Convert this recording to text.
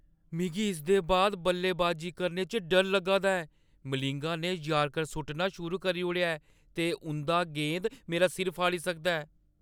मिगी इसदे बाद बल्लेबाजी करने च डर लग्गा दा ऐ। मलिंगा ने यॉर्कर सु'ट्टना शुरू करी ओड़ेआ ऐ ते उंʼद गेंद मेरा सिर फाड़ी सकदा ऐ।